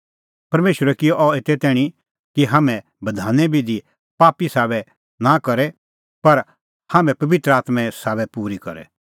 परमेशरै किअ अह एते तैणीं कि हाम्हैं बधाने बिधी पापी सभाबे साबै नां करे पर हाम्हैं पबित्र आत्में साबै पूरी करे